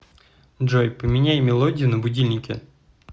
джой поменяй мелодию на будильнике